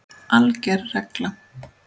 ALGER REGLA